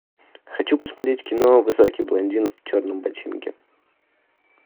хочу посмотреть кино высокий блондин в черном ботинке